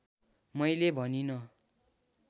मैले भनिँन